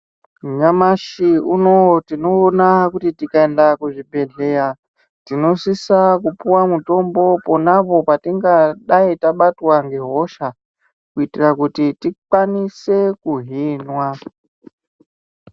Nyamashi unowo tinoona kuti tikaenda kuzvibhehleya tinosisa kupuwa mutombo ponapo patingadai tabatwa ngehosha kuitire kuti tikwanise kuhinwa .